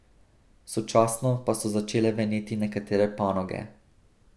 Sočasno pa so začele veneti nekatere panoge.